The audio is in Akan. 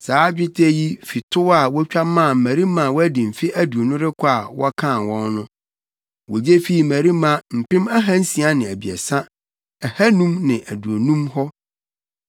Saa dwetɛ yi fi tow a wotwa maa mmarima a wɔadi mfe aduonu rekɔ a wɔkan wɔn no. Wogye fii mmarima mpem ahansia ne abiɛsa, ahannum ne aduonum hɔ.